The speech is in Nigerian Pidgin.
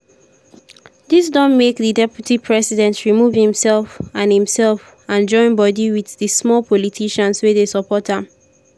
dis don make di deputy president remove imsef and imsef and join bodi wit di small politicians wey dey support am.